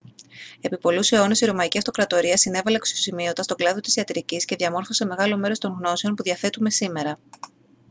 επί πολλούς αιώνες η ρωμαϊκή αυτοκρατορία συνέβαλε αξιοσημείωτα στον κλάδο της ιατρικής και διαμόρφωσε μεγάλο μέρος των γνώσεων που διαθέτουμε σήμερα